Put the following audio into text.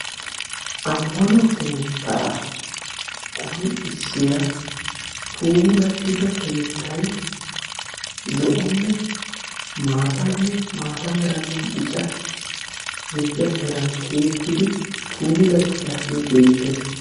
Ammano keettaa qonccissiya puulattida keettay zo'onne maataanne maata meranne bica gidida meran tiyettidi puulattidaagee beettees.